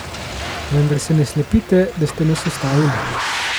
Vendar se ne slepite, da ste nas ustavili.